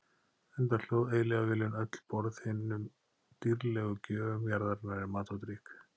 Enda hlóð eilífðarvélin öll borð hinum dýrðlegu gjöfum jarðarinnar í mat og drykk.